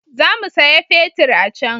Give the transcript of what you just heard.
Za mu saya fetir a can